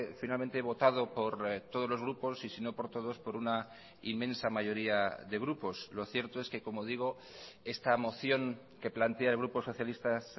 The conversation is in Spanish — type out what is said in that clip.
finalmente votado por todos los grupos y si no por todos por una inmensa mayoría de grupos lo cierto es que como digo esta moción que plantea el grupo socialistas